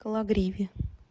кологриве